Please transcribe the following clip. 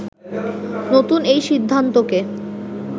“নতুন এই সিদ্ধান্তকে